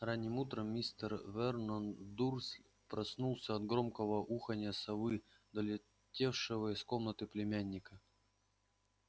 ранним утром мистер вернон дурсль проснулся от громкого уханья совы долетевшего из комнаты племянника